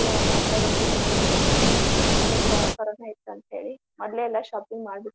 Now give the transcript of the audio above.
November, December ಮಾಡಿದ್ರ್ ಅಲ್ಲೇ ಎಲ್ಲಾ shopping ಮಾಡಿಬಿಟ್ವಿ.